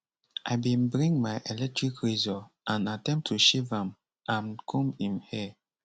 i bin bring my electric razor and attempt to shave am and comb im hair